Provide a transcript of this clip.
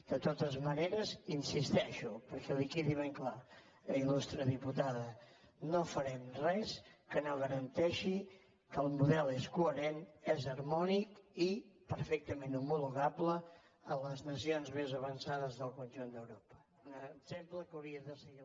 de totes maneres hi insisteixo perquè li quedi ben clar ilque el model és coherent és harmònic i perfectament homologable a les nacions més avançades del conjunt d’europa un exemple que hauria de seguir